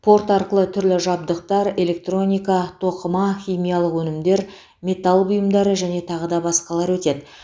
порт арқылы түрлі жабдықтар электроника тоқыма химиялық өнімдер металл бұйымдары және тағы да басқалар өтеді